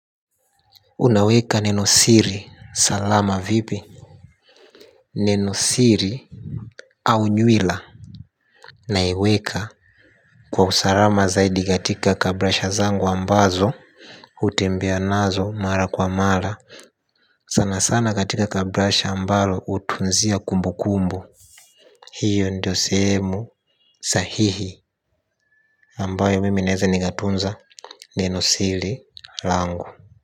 Unaweka nine siri salama vipi nine siri au nywila naiweka kwa usalama zaidi katika kabrasha zangu ambazo hutembea nazo mara kwa mara sana sana katika kabrasha ambalo hutunzia kumbukumbu hiyo ndio sehemu sahihi ambayo mimi naweza nikatunza nenosiri lango.